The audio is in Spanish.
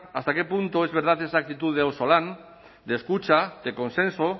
hasta qué punto es verdad esa actitud de auzolan de escucha de consenso